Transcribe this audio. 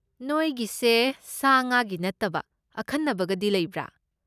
ꯅꯣꯏꯒꯤꯁꯦ ꯁꯥ ꯉꯥꯒꯤ ꯅꯠꯇꯕ ꯑꯈꯟꯅꯕꯒꯗꯤ ꯂꯩꯕ꯭ꯔꯥ?